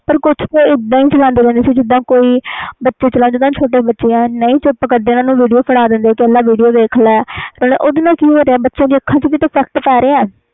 ਪਰ ਕੁਛ ਇਹਦਾ ਹੀ ਚਲਾਂਦੇ ਰਹਦੇ ਆ ਜਿੰਦਾ ਕੋਈ ਛੋਟੇ ਬੱਚੇ ਨਹੀਂ ਚੁੱਪ ਕਰਦੇ ਓਹਨੂੰ ਚੁੱਪ ਕਰਨ ਲਈ ਦੇ ਦੇਣਾ ਫੋਨ video ਦੇਖਣ ਲਈ video ਦੇਖ ਲੈ ਓਹਦੇ ਨਾਲ ਕਿ ਹੁੰਦਾ ਆ ਅੱਖਾਂ ਤੇ ਵੀ ਅਸਰ ਪੈਂਦਾ ਆ